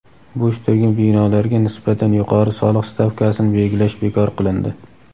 Bo‘sh turgan binolarga nisbatan yuqori soliq stavkasini belgilash bekor qilindi.